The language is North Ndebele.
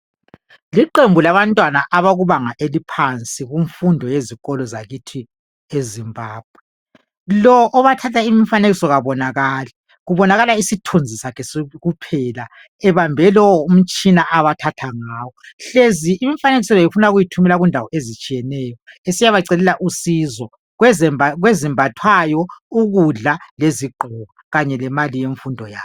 Liqembu labantwana abakubanga eliphansi kumfundo yezikolo zakithi eZimbabwe. Lo obathatha imfanekiso kabonakali, kubonakala isithunzi sakhe kuphela ebambe lowo umtshina abathatha ngawo, hlezi imfanekiso le ufuna ukuyithumela kundawo ezitshiyeneyo esiyabacelela usizo kwezimbathwayo, ukudla, lezigqoko kanye lemali yemfundo yabo .